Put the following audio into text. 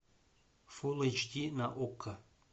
фулл эйч ди на окко